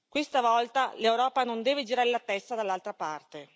Questa volta l'Europa non deve girare la testa dall'altra parte.